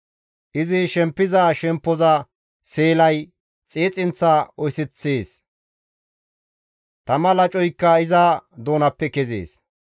Izi shempiza shemppoza seelay xiixinththa oyseththees; tama lacoykka iza doonappe kezees.